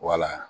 Wala